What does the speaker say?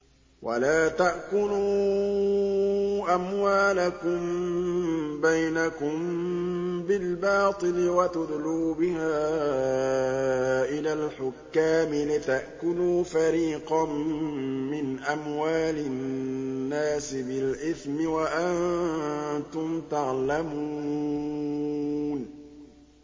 وَلَا تَأْكُلُوا أَمْوَالَكُم بَيْنَكُم بِالْبَاطِلِ وَتُدْلُوا بِهَا إِلَى الْحُكَّامِ لِتَأْكُلُوا فَرِيقًا مِّنْ أَمْوَالِ النَّاسِ بِالْإِثْمِ وَأَنتُمْ تَعْلَمُونَ